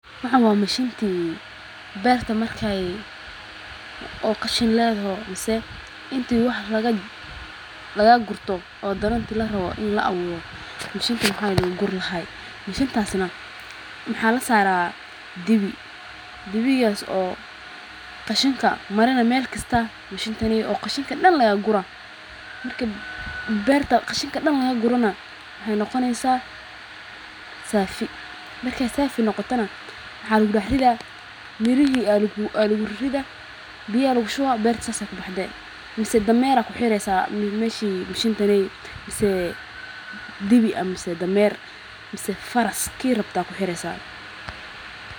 waxaan wa mashintii. Beerta markay oo qashan leedho, maase intuu wax laga, lagaa gurto oo dananti la ra'o in la awo. Mashintani ha inigur lahay. Mashintaasina maxa la saaraa dibi. Dibiyoo oo. Qashinka marina meel kasta mashintani oo qashinka dhan lagaa gura. Markay beertaa qashinka dhan laga gurana hay noqonaysaa... Saafi. Markay saafi noqotana maxa lagu dhahrida mirihi, alug ririda biye alugu shooba beerta saas kubaxdee. Mise dameera ku xireysaa meeshi mashintan ey, mise dibi ama ise dameer mise faraski ki rabtaa ku xireysa.